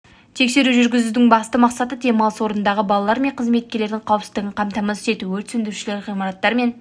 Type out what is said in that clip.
тексеру жүргізудің басты мақсаты демалыс орындарындағы балалар мен қызметкерлердің қауіпсіздігін қамтамасыз ету өрт сөндірушілер ғимараттар мен